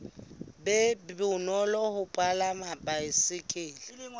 be bonolo ho palama baesekele